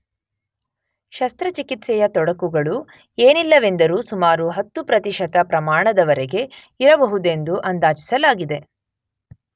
ಶಸ್ತ್ರಚಿಕಿತ್ಸೆಯ ತೊಡಕುಗಳು ಏನಿಲ್ಲವೆಂದರೂ ಸುಮಾರು 10 ಪ್ರತಿಶತ ಪ್ರಮಾಣದವರೆಗೆ ಇರಬಹುದೆಂದು ಅಂದಾಜಿಸಲಾಗಿದೆ